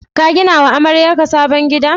Ka gina wa amaryarka sabon gida?